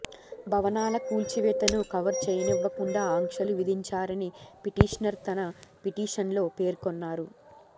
భవనాల కూల్చివేతను కవర్ చేయనివ్వకుండా ఆంక్షలు విధించారని పిటిషనర్ తన పిటిషన్లో పేర్కొన్నారు